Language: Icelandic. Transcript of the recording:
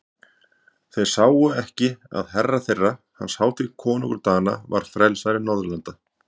Sáu þeir ekki að herra þeirra, hans hátign konungur Dana, var frelsari Norðurlanda?